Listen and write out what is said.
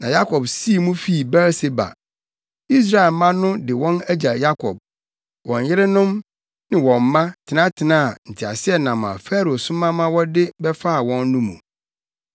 Na Yakob sii mu fii Beer-Seba. Israelmma no de wɔn agya Yakob, wɔn yerenom ne wɔn mma tenatenaa nteaseɛnam a Farao soma ma wɔde bɛfaa wɔn no mu.